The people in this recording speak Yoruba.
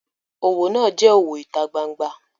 Owo naa je owo ita gbangba.